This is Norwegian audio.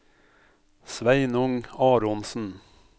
Sveinung Aronsen